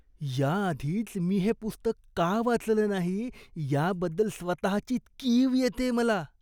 याआधीच मी हे पुस्तक का वाचलं नाही याबद्दल स्वतःची कीव येतेय मला.